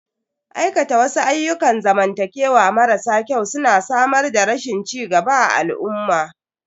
Aikata wasu ayyukan zamantakewa marasa kyau su na samar da rashin cigaba a al'umma.